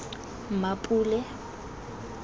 mmapule